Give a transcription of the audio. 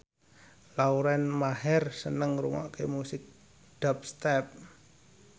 Lauren Maher seneng ngrungokne musik dubstep